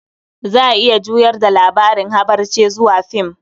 Za a iya juyar da labarin habarce zuwa film.